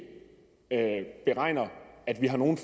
beregner at vi har nogen